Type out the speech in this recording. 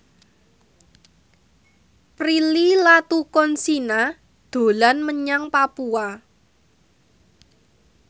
Prilly Latuconsina dolan menyang Papua